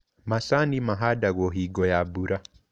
Macani mahandagũo hingo ya mbura.